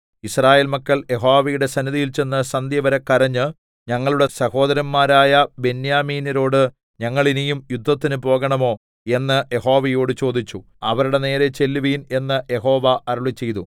യിസ്രായേൽ മക്കൾ യഹോവയുടെ സന്നിധിയിൽ ചെന്ന് സന്ധ്യവരെ കരഞ്ഞ് ഞങ്ങളുടെ സഹോദരന്മാരായ ബെന്യാമീന്യരോട് ഞങ്ങൾ ഇനിയും യുദ്ധത്തിന് പോകേണമോ എന്ന് യഹോവയോട് ചോദിച്ചു അവരുടെ നേരെ ചെല്ലുവിൻ എന്ന് യഹോവ അരുളിച്ചെയ്തു